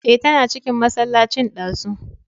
Eh, tana cikin masallacin ɗazu